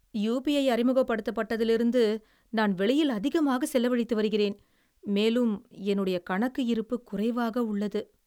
UPI அறிமுகப்படுத்தப்பட்டதிலிருந்து, நான் வெளியில் அதிகமாகச் செலவழித்து வருகிறேன், மேலும் என்னுடைய கணக்கு இருப்பு குறைவாக உள்ளது.